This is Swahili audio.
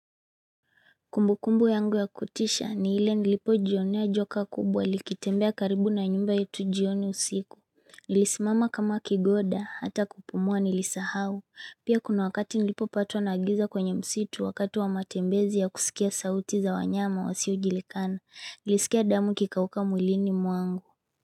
Kumbu kumbu yangu ya kutisha ni ile nilipo jionea joka kubwa likitembea karibu na nyumba yetu jioni usiku. Nilisimama kama kigoda hata kupumua nilisahau. Pia kuna wakati nilipo patwa na giza kwenye msitu wakati wa matembezi ya kusikia sauti za wanyama wasiojulikana. Nilisikia damu ikikauka mwilini muangu.